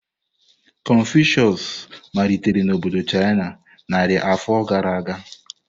Confucius malitere na obodo China narị afọ gara aga.